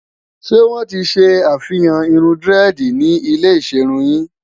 ṣé wón tí ṣé àfihàn irún diredi ni ilẹ iserun yìn?